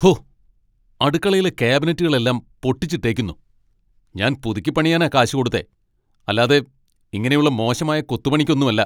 ഹോ അടുക്കളയിലെ കാബിനെറ്റുകളെല്ലാം പൊട്ടിച്ചിട്ടേക്കുന്നു, ഞാൻ പുതുക്കിപ്പണിയാനാ കാശ് കൊടുത്തേ, അല്ലാതെ ഇങ്ങനെയുള്ള മോശമായ കൊത്തു പണിക്കൊന്നുമല്ല.